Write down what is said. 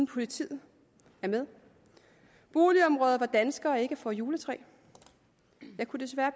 politiet er med boligområder hvor danskere ikke får juletræ og jeg kunne desværre